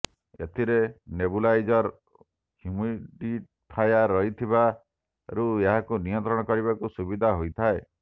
ଏଥିରେ nebuliser humidifier ରହିଥିବାରୁ ଏହାକୁ ନିୟନ୍ତ୍ରଣ କରିବାକୁ ସୁବିଧା ହୋଇଥାଏ